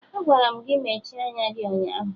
Agwara m gị mechie anya gị ụnyaahụ!